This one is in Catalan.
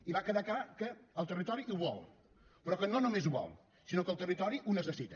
i va quedar clar que el territori ho vol però que no només ho vol sinó que el territori ho necessita